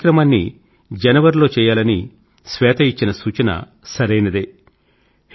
ఈ కార్యక్రమాన్ని జనవరి లో చేయాలని శ్వేత ఇచ్చిన సూచన సరైనదే